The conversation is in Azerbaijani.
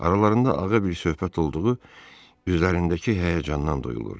Aralarında ağır bir söhbət olduğu üzlərindəki həyəcandan duyulurdu.